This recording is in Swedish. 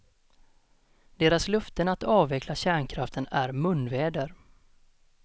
Deras löften att avveckla kärnkraften är munväder.